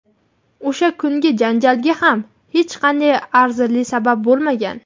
O‘sha kungi janjalga ham hech qanday arzirli sabab bo‘lmagan.